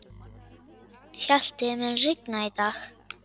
Hjalti, mun rigna í dag?